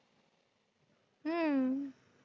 हम्म